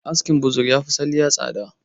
Askin buzur yafi askin salliya tsada